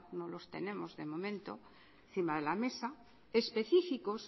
no los tenemos de momento encima de la mesa específicos